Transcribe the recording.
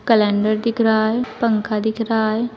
Calendar दिख रहा है पंखा दिख रहा है।